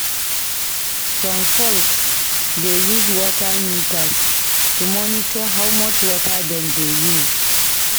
Some folks dey use water meters to monitor how much water dem dey use.